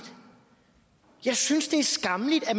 jeg synes det er skammeligt at